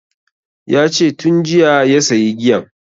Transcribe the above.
Yace tun jiya ya sayi giyan